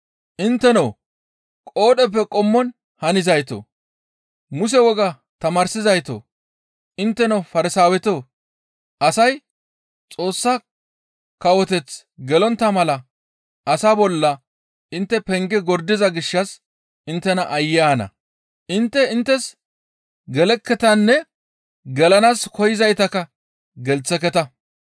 «Intteno qoodheppe qommon hanizaytoo, Muse wogaa tamaarsizaytoo! Intteno Farsaawetoo! Asay Xoossa kawoteth gelontta mala asa bolla intte penge gordiza gishshas inttena aayye ana! Intte inttes gelekketanne gelanaas koyzaytakka gelththeketa.